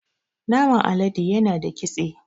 Naman alade yana da kitse